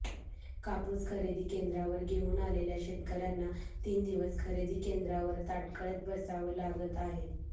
कापूस खरेदी केंद्रावर घेऊन आलेल्या शेतकऱ्यांना तीन दिवस खरेदी केंद्रावर ताटकळत बसावं लागत आहे